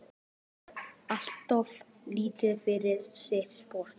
Hann er alltof lítill fyrir sitt sport.